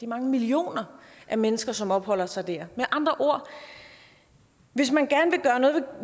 mange millioner mennesker som opholder sig der med andre ord hvis man gerne